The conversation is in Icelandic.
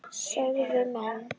sögðu menn.